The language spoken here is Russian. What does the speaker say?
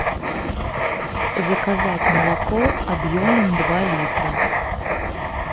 заказать молоко объемом два литра